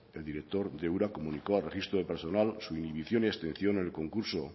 el director de ura comunicó al registro de personal su inhibición y exención en el concurso